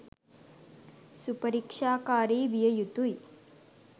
සුපරික්ෂාකාරි විය යුතුයි.